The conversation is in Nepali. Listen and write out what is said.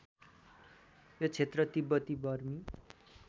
यो क्षेत्र तिब्बती बर्मी